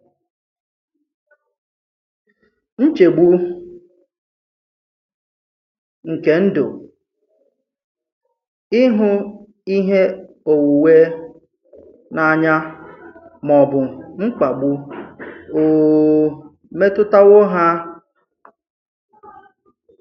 Nchegbù nke Ndụ, ịhụ ihe onwunwe n’anya, mà ọ̀ bụ̀ mkpàgbù ò ò metụ̀tàwò ha?